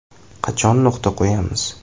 Qachon nuqta qo‘yamiz?